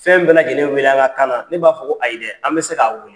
Fɛn bɛɛ lajɛlen bɛ wele an ka kan na. Ne b'a fɔ ko a ayi dɛ, an bɛ se ka wele.